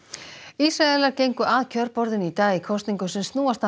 Ísraelar gengu að kjörborðinu í dag í kosningum sem snúast að